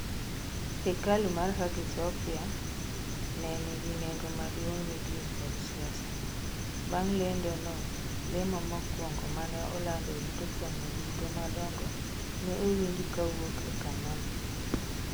Hekalu mar Hagia Sophia ne nigi nengo maduong' ne din kod siasa, bang lendo no lemo mokwongo mane oland e ute fwambo duto madongo ne owinji kawuok e kanyo no.